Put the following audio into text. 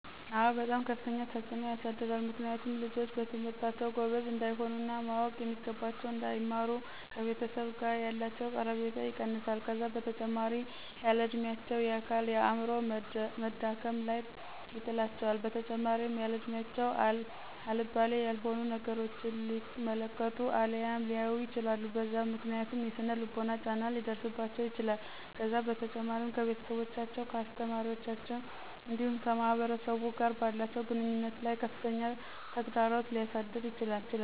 አዎ በጣም ከፍተኛ ተፅዕኖ ያሳድራል ምክንያቱም ልጆች በትምህርታቸው ጎበዞች እንዳይሆኑ እና ማወቅ የሚገባቸውን እንዳይማሩና ከቤተሰብ ጋ ያላቸው ቀረቤታ ይቀንሰዋል ከዛ በተጨማሪም ያለ እድሚያቸው የአካል የአዐምሮ መዳከም ላይ ይጥላቸዋል በተጨማሪም ያለእድሚያቸው አልባሌ ያልሆኑ ነገራቶችን ሊመለከቱ አልያም ሊያዩ ይችላሉ በዛ ምክንያት የሰነ ልቦና ጫና ሊደርሰባቸው ይችላል ከዛ በተጨማሪም ከቤተሰቦቻቸው ከአሰተማሪዎቻቸው እንዲሁም ከማህበረሰቡ ጋር ባላቸው ግንኙነት ላይ ከፍተኛ ተግዳሮት ሊያሳድር ይችላል